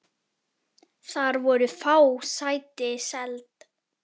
Þar voru fá sæti seld.